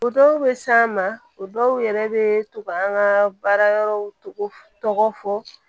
O dɔw bɛ s'an ma o dɔw yɛrɛ bɛ to ka an ka baara yɔrɔw tɔgɔ tɔgɔ fɔ